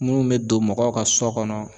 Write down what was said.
Munnu be don mɔgɔw ka so kɔnɔ